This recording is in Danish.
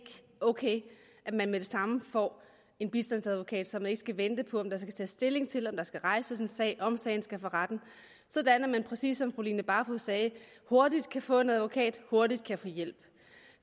ok at man med det samme får en bistandsadvokat så man ikke skal vente på om der skal tages stilling til om der skal rejses en sag om sagen skal for retten sådan at man præcis som fru line barfod sagde hurtigt kan få en advokat og hurtigt kan få hjælp